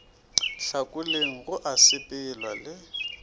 hlakoleng go a sepelwa le